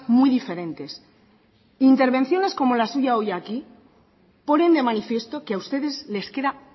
muy diferentes intervenciones como la suya hoy aquí ponen de manifiesto que a ustedes les queda